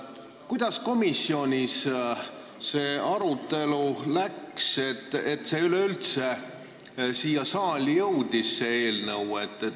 Kuidas komisjonis see arutelu läks, et üleüldse see eelnõu siia saali jõudis?